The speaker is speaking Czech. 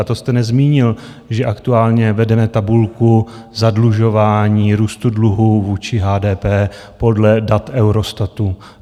A to jste nezmínil, že aktuálně vedeme tabulku zadlužování, růstu dluhu vůči HDP podle dat Eurostatu.